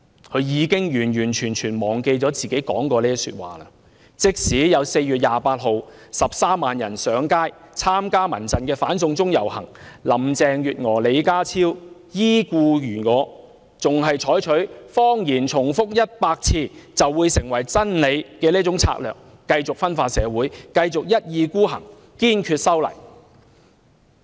她已完全忘記自己曾說過這番話，即使在4月28日有13萬人參加民間人權陣線舉行的"反送中遊行"上街示威，林鄭月娥和李家超依然故我，依然採取那種"謊言重複100次便變成真理"的策略，繼續分化社會，繼續一意孤行，堅決修例。